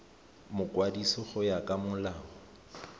mokwadisi go ya ka molao